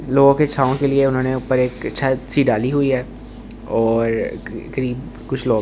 लोगों के छाँव के लिए उन्होंने ऊपर एक छत सी डाली हुई है और करीब कुछ लोग हैं।